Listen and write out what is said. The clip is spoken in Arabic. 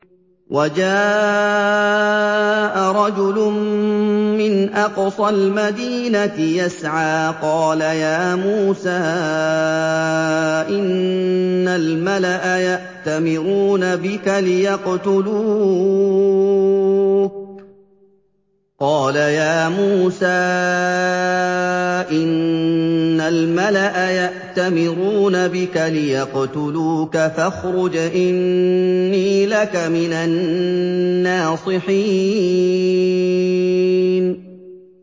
وَجَاءَ رَجُلٌ مِّنْ أَقْصَى الْمَدِينَةِ يَسْعَىٰ قَالَ يَا مُوسَىٰ إِنَّ الْمَلَأَ يَأْتَمِرُونَ بِكَ لِيَقْتُلُوكَ فَاخْرُجْ إِنِّي لَكَ مِنَ النَّاصِحِينَ